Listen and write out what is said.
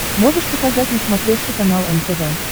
можешь показать на смотрешке канал нтв